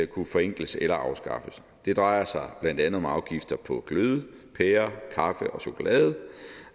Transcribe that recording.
kunne forenkles eller afskaffes det drejer sig blandt andet om afgifter på glødepærer kaffe og chokolade